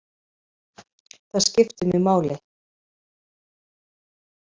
Það skiptir mig máli.